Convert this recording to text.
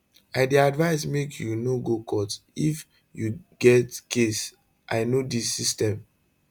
i dey advise make you no go court if you get case i know di system